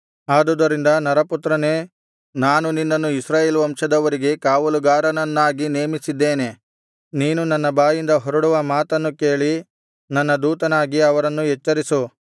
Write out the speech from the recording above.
ಆದುದರಿಂದ ನರಪುತ್ರನೇ ನಾನು ನಿನ್ನನ್ನು ಇಸ್ರಾಯೇಲ್ ವಂಶದವರಿಗೆ ಕಾವಲುಗಾರನನ್ನಾಗಿ ನೇಮಿಸಿದ್ದೇನೆ ನೀನು ನನ್ನ ಬಾಯಿಂದ ಹೊರಡುವ ಮಾತನ್ನು ಕೇಳಿ ನನ್ನ ದೂತನಾಗಿ ಅವರನ್ನು ಎಚ್ಚರಿಸು